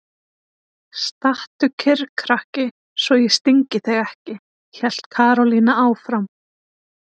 Stattu kyrr krakki svo ég stingi þig ekki! hélt Karólína áfram.